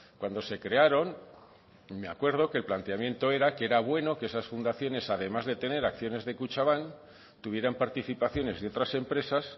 cuando se crearon me acuerdo que el planteamiento era que era bueno que esas fundaciones además de tener acciones de kutxanbak tuvieran participaciones de otras empresas